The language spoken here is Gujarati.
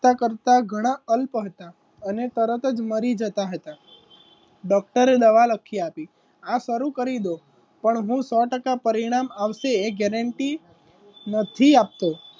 કરતાં કરતાં ઘણા અલ્પ હતા અને તરત જ મરી જતા હતા ડોક્ટરે દવા લખી આપી આ શરૂ કરી દો પણ હું સો ટકા પરિણામ આવશે gurrenty નથી આપતો.